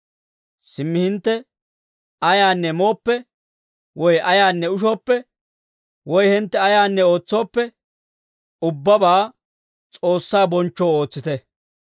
Simmi hintte ayaanne mooppe, woy ayaanne ushooppe, woy hintte ayaanne ootsooppe, ubbabaa S'oossaa bonchchoo ootsite.